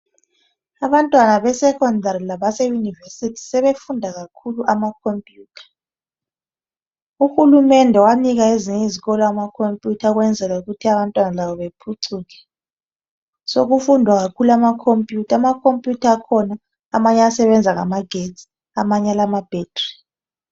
Abantwana besecondary labe university sebefunda kakhulu ama computer uhulumende Kanika ezinye izikolo amacomputer ukwenzela ukuthi labo bephucuke sokufundwa kakhulu ngama computer ama computer akhona amanye ayasebenza ngama getsi amanye alamabattery